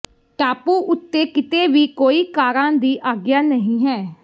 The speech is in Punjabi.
ਟਾਪੂ ਉੱਤੇ ਕਿਤੇ ਵੀ ਕੋਈ ਕਾਰਾਂ ਦੀ ਆਗਿਆ ਨਹੀਂ ਹੈ